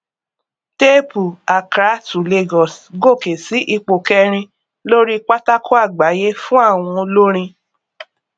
téèpù accrá to lagos gòkè sí ipò kẹrin lóri pátákó àgbáyé fún àwọn olórin